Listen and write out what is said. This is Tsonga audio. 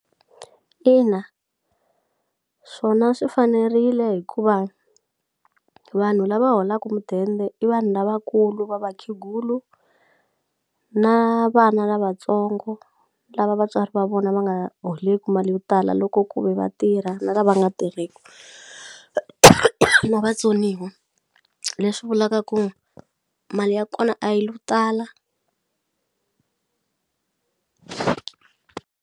Ina swona swi fanerile hikuva vanhu lava holaku mudende i vanhu lavakulu va vakhegulu na vana lavatsongo lava vatswari va vona va nga holeku mali yo tala loko ku ve vatirha na la va nga tirheku na vatsoniwa leswi vulaka ku mali ya kona a yi lo tala.